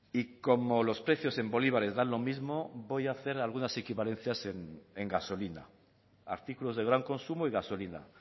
y como los precios en bolívares dan lo mismo voy a hacer algunas equivalencias en gasolina artículos de gran consumo y gasolina